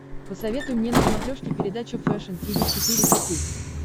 посоветуй мне на смотрешке передачу фэшн ти ви четыре ка